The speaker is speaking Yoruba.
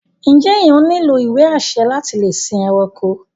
Njé ènìyàn nílò ìwé-àṣẹ láti lè sìn ẹranko?